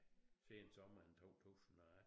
Sensommeren 2001